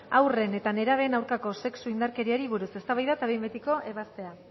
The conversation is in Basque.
haurren eta nerabeen aurkako sexu indarkeriei buruz eztabaida eta behin betiko ebazpena